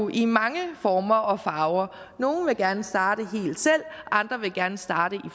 i mange former og farver nogle vil gerne starte helt selv andre vil gerne starte i